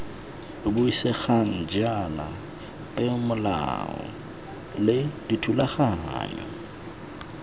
buisegang jaana peomolao le dithulaganyo